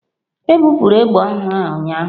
Ebupụrụ egbe ọhụrụ a ụnyaahụ.